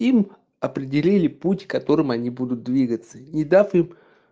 им определили путь которым они будут двигаться не дав им